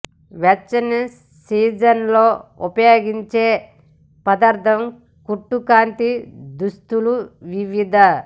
వెచ్చని సీజన్ లో ఉపయోగించే పదార్థాల కుట్టు కాంతి దుస్తులు వివిధ